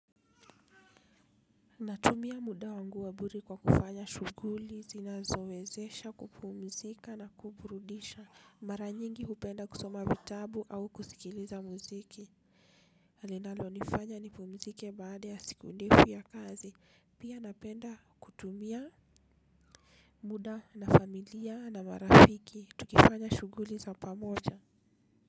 Natumia muda wangu wa bure kwa kufanya shughuli zinazowezesha kupumzika na kuburudisha. Mara nyingi hupenda kusoma vitabu au kusikiliza muziki linalo nifanya nipumzike baada ya siku ndefu ya kazi pia napenda kutumia muda na familia na marafiki tukifanya shughuli za pamoja.